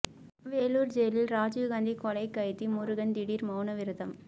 வேலூர் ஜெயிலில் ராஜீவ்காந்தி கொலை கைதி முருகன் திடீர் மவுன விரதம்